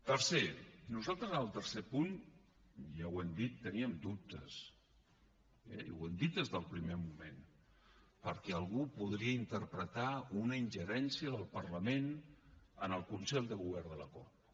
tercer nosaltres en el tercer punt i ja ho hem dit teníem dubtes eh i ho hem dit des del primer moment perquè algú podria interpretar una ingerència del parlament en el consell de govern de la corpo